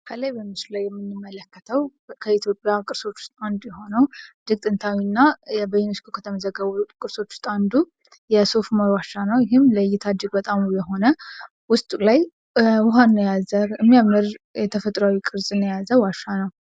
ከላይ በመስሉ ላይ የምንመለከተው ከኢትዮጵያ ቅርሶች ውስጥ አንዱ የሆነው እጅግ ጥንታዊ እና በዩኒስኮ ከተመዘገቡት ቅርሶች ውስጥ አንዱ የሆነ የሶፍ ኦመር ዋሻ ነው። ይህም ለእይታ እጅግ በጣም ውብ የሆነ ውስጡ ላይ ውሃን የያዘ የሚያምር ተፈጥሯዊ ቅርፅን የያዘ ዋሻ ነው።